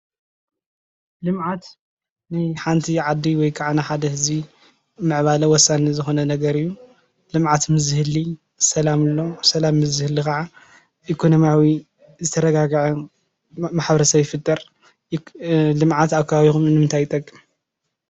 ልምዓት ንሓንቲ ዓዲ ወይ ከዓ ንሓደ ህዝቢ ምዕባለ ወሳኒ ዝኾነ ነገር አዩ። ልምዓት ምዝህሊ ሰላም ኣሎ ሰላም ምዝህሊ ከዓ ኢኮኖሚያዊ ዝተረጋገዐ ማሕበረሰብ ይፍጠር። ልምዓት ኣብ ከባቢኩም ንምንታይ ይጠቅም?